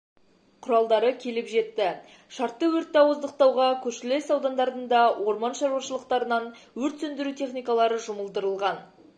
құралдары келіп жетті шартты өртті ауыздықтауға көршілес аудандардың да орман шаруашылықтарынан өрт сөндіру техникалары жұмылдырылған